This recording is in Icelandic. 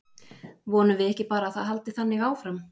Vonum við ekki bara að það haldi þannig áfram?